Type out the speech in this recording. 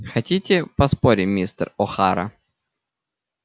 хотите поспорим мистер охара